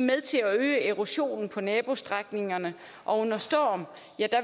med til at øge erosionen på nabostrækninger og under storm